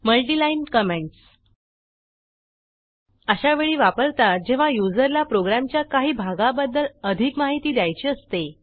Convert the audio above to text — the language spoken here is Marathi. multi line multi line comments अशा वेळी वापरतात जेव्हा युजरला प्रोग्रॅमच्या काही भागाबद्दल अधिक माहिती द्यायची असते